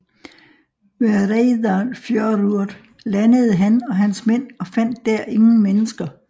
Ved Reyðarfjörður landede han og hans mænd og fandt der ingen mennesker